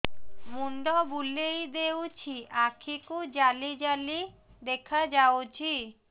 ମୁଣ୍ଡ ବୁଲେଇ ଦେଉଛି ଆଖି କୁ ଜାଲି ଜାଲି ଦେଖା ଯାଉଛି